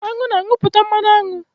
Anụ na-anupụta mmanụ aṅụ